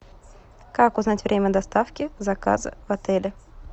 как узнать время доставки заказа в отеле